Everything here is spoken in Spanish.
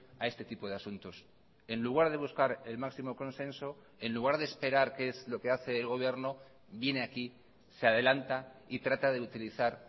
a este tipo de asuntos en lugar de buscar el máximo consenso en lugar de esperar qué es lo que hace el gobierno viene aquí se adelanta y trata de utilizar